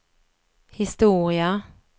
historia